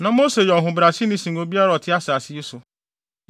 Na Mose yɛ ɔhobrɛaseni sen obiara a ɔte asase yi so.